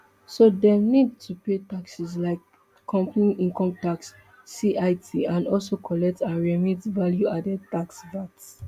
so dem need to pay taxes like company income tax cit and also collect and remit value added tax vat